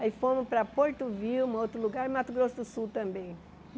Aí fomos para Porto Vilma, outro lugar, Mato Grosso do Sul também.